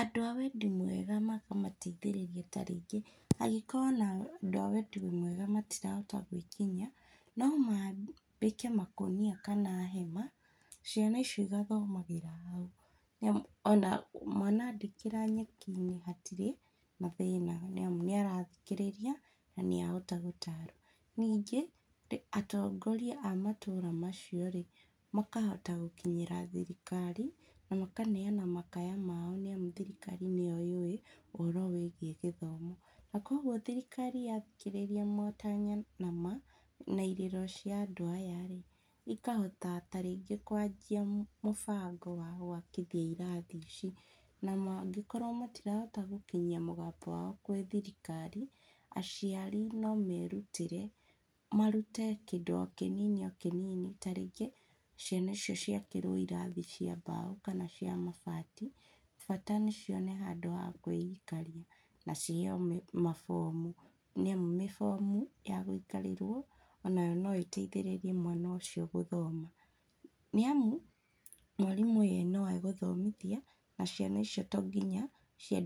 andũ a wendi mwega makamateithĩrĩria ta rĩngĩ, angĩkorwo ona andũ a wendi mwega matirahota gwĩkinyia, no mambe makonia kana hema, ciana icio igathomagĩra hau, nĩamu ona mwana andĩkĩra nyeki-inĩ hatirĩ na thĩna nĩamu nĩarathikĩrĩria na níahota gũtarwo, ningĩ, atongoria a matũra macio rĩ, makahota gũkinyĩra thirikari, na makaneana kamaya mao nĩamu thirikari nĩyo yũĩ ũhoro wĩgiĩ gĩthomo, na koguo thirikari yathikĩrĩria motanya na irĩro cia andũ aya rĩ, ikahota tarĩngĩ kwanjia mũbango wa wakithia irathi ici, na mangĩkorwo matirahota gũkinyia mũgambo wao kũrĩ thirikari, aciari nomerutĩre, marute kĩndũ o kĩnini kĩnini, ta rĩngĩ ciana icio ciakĩrwo irathi cia mbaũ, kana cia mabati, bata nĩcione handũ ha kwĩikaria, na ciheo mĩ mabomu, nĩamu mĩbomu yagũikarĩrwo onayo noĩteithĩrĩrie mwana ũcio gũthoma, nĩamu, mwarimũ ye noegũthomithia, na ciana icio tonginya ciandĩ.